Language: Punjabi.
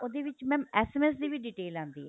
ਉਹਦੇ ਵਿੱਚ mam SMS ਦੀ ਵੀ detail ਆਂਦੀ ਏ